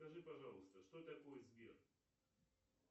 скажи пожалуйста что такое сбер